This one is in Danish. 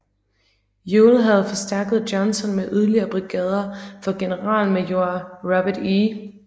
Ewell havde forstærket Johnson med yderligere brigader fra generalmajor Robert E